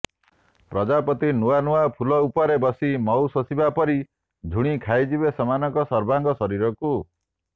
ପ୍ରଜାପତି ନୂଆନୂଆ ଫୁଲ ଉପରେ ବସି ମହୁ ଶୋଷିବା ପରି ଝୁଣି ଖାଇଯିବେ ସେମାନଙ୍କର ସର୍ବାଙ୍ଗ ଶରୀରକୁ